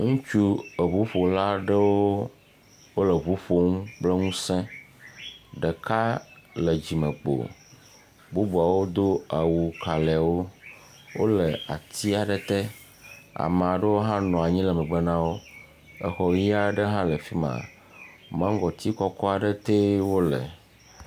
Ŋutsu eŋuƒolaɖewo wole eŋu ƒom kple ŋusẽ ɖeka le dzimekpo, bubuawo do awu kalɛwo, wole ati aɖe tea me aɖewo hã nɔ anyi le megbe na wo, exɔ ʋi aɖe hã le afi ma, maŋgɔti aɖe tee wole.